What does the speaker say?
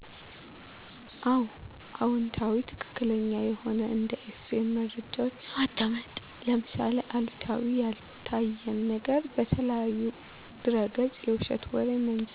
አዎ አዎንታዊ ትክክለኛ የሆነ እንደ ኤፍኤም መረጃዎችን ማዳመጥ ለምሳሌ አሉታዊ ያልታየን ነገር በተለያዩ ድረገፆች የዉሸት ወሬ መንዛት